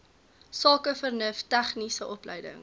sakevernuf tegniese opleiding